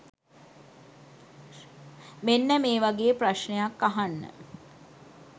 මෙන්න මේ වගේ ප්‍රශ්නයක් අහන්න.